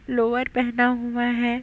Lower पहना हुआ है।